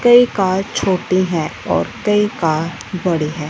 कई कार छोटी हैं और कई कार बड़ी हैं।